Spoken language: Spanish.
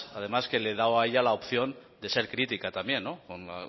además que le he dado a ella la opción de ser crítica también con